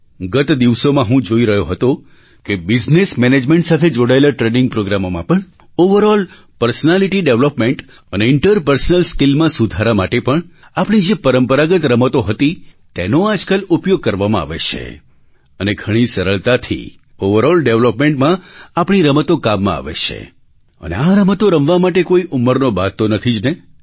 ગત દિવસોમાં હું જોઈ રહ્યો હતો કે બિઝનેસ મેનેજમેન્ટ સાથે જોડાયેલા ટ્રેનિંગ પ્રૉગ્રામોમાં પણ ઑવરઑલ પર્સનાલિટી ડૅવલપમેન્ટ અને ઇન્ટરપર્સનલ સ્કિલ્સમાં સુધારા માટે પણ આપણી જે પરંપરાગત રમતો હતી તેનો આજકાલ ઉપયોગ કરવામાં આવે છે અને ઘણી સરળતાથી ઑવરઑલ ડેવલપમેન્ટમાં આપણી રમતો કામમાં આવે છે અને આ રમતો રમવા માટે કોઈ ઉંમરનો બાધ તો નથી જ ને